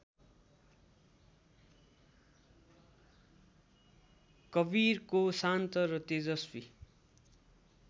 कवीरको शान्त र तेजस्वी